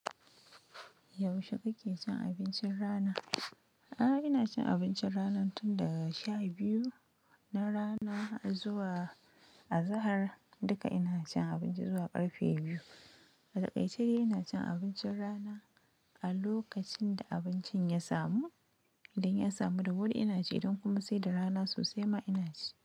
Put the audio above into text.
Yaushe kake cin abincin rana? Ahh, ina cin abincin rana tun daga sha biyu na rana zuwa azahar. Duka ina cin abinci zuwa ƙarfe biyu. Atakaice ina cin abincin rana a lokacin da abincin ya samu, idan ya samu da wuri ina ci idan kuma sai da rana sosai ma ina ci.